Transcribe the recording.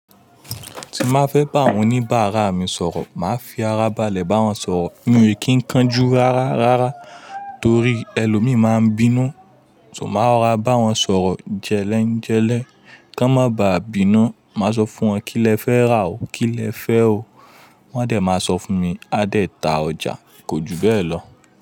Tí má fẹ́ bá àwọn oníbàárà mi sọ̀rọ̀, màá fi ara balẹ̀ bá wọn sọ̀rọ̀, mi ì kí ń kánjú rárá rárá torí ẹlòmíí máa ń bínú. Ṣo má rò ra bá wọn sọ̀rọ̀ jẹ́lẹ́ ń jẹ́lẹ́ kó má ba à bínú. Màá sọ fún wọn kí lẹ fẹ́ rà o, kí lẹ fẹ́ o. Wọ́n á dẹ̀ máa sọ fún mi, a dẹ̀ ta ọjà, kò ju bẹ́ẹ̀ lọ.